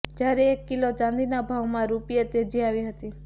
જ્યારે એક કિલો ચાંદીના ભાવમાં રૂપિયા તેજી આવી હતી